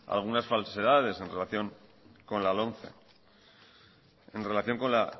algunas falsedades en relación con la lomce en relación con la